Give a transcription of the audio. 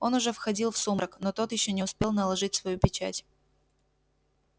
он уже входил в сумрак но тот ещё не успел наложить свою печать